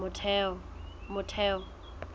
motheo